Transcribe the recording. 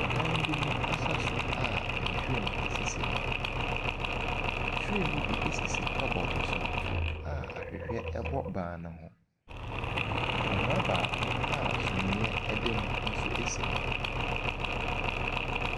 Dan bi mu asa so a nhwiren sisi hɔ. Nhwiren no bi sisi cupboard so a ahwehwɛ bɔ ban no ho. Akonnwa baako a sumiiɛ na mu nso si hɔ.